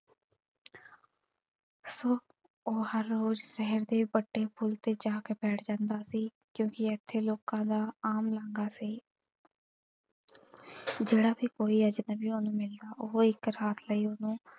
ਉਹ ਹਰ ਰੋਜ਼ ਸ਼ਹਿਰ ਦੇ ਵੱਡੇ ਪੁਲ ਤੇ ਜਾ ਕੇ ਬੈਠ ਜਾਂਦਾ ਸੀ ਕਿਓਂਕਿ ਏਥੇ ਲੋਕਾਂ ਦਾ ਆਮ ਲਾਂਗਾ ਸੀ। ਜਿਹੜਾ ਵੀ ਕੋਈ ਅਜਨਬੀ ਉਹਨੂੰ ਮਿਲਣਾ ਉਹ ਇਕ ਰਾਤ ਲਈ ਉਹਨੂੰ,